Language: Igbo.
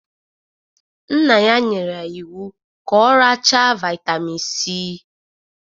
Nna ya nyere ya iwu ka ọ racha Vaitamin C!